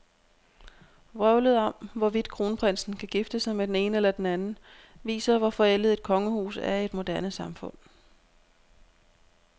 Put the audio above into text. Vrøvlet om, hvorvidt kronprinsen kan gifte sig med den ene eller den anden, viser, hvor forældet et kongehus er i et moderne samfund.